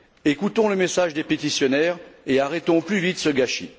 Écoutons le message des pétitionnaires et arrêtons au plus vite ce gâchis.